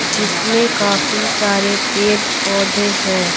जिसमें काफी सारे पेड़-पौधे हैं।